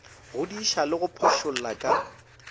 godiša le go phošolla ka